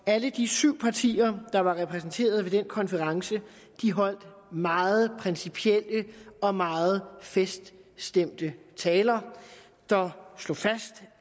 alle de syv partier der var repræsenteret ved den konference holdt meget principielle og meget feststemte taler der slog fast